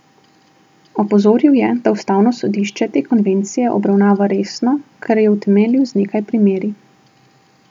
Opozoril je, da Ustavno sodišče te konvencije obravnava resno, kar je utemeljil z nekaj primeri.